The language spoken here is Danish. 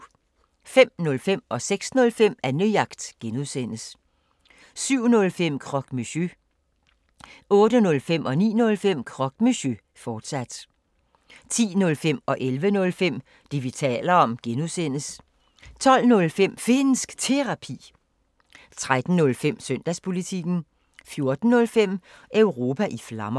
05:05: Annejagt (G) 06:05: Annejagt (G) 07:05: Croque Monsieur 08:05: Croque Monsieur, fortsat 09:05: Croque Monsieur, fortsat 10:05: Det, vi taler om (G) 11:05: Det, vi taler om (G) 12:05: Finnsk Terapi 13:05: Søndagspolitikken 14:05: Europa i Flammer